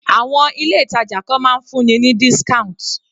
Àwọn ilé ìtàjà kan máa ń fún ni ní discount